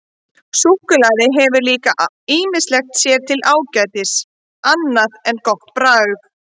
Súkkulaði hefur líka ýmislegt sér til ágætis annað en gott bragð.